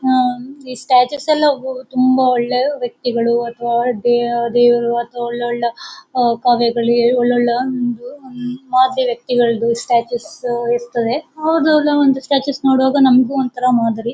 ಆಹ್ಹ್ ಈ ಸ್ಟ್ಯಾಚುಸ್ ಎಲ್ಲ ತುಂಬಾ ಒಳ್ಳೆ ವ್ಯಕ್ತಿಗಳು ಅಥವಾ ದೇವರು ಅಥವಾ ಒಳ್ಳೆ ಒಳ್ಳೆ ಕವಿಗಳು ಒಳ್ಳೆ ಒಳ್ಳೆ ಆಹ್ಹ್ ಒಂದು ಮಾದರಿ ವ್ಯಕ್ತಿಗಳದ್ದು ಸ್ಟ್ಯಾಚು ಇರ್ತದೆ ಅವರದು ಅವರದ್ದು ಒಂದು ಸ್ಟ್ಯಾಚು ನೋಡುವಾಗ ನಮಗೂ ಒಂಥರಾ ಮಾದರಿ.